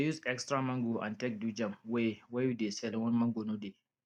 we dey use extra mango take do jam wey wey we dey sell when mango no dey